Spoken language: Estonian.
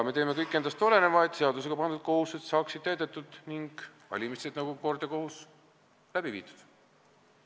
Me teeme kõik endast oleneva, et meile seadusega pandud kohustused saaksid täidetud ning valimised nagu kord ja kohus läbi viidud.